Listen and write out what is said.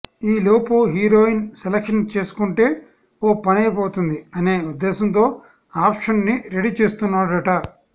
ఈ లోపు heroine selection చేసుకుంటే ఓ పనైపోతుంది అనే ఉద్దేశంతో ఆప్షన్స్ని రెడీ చేస్తున్నాడట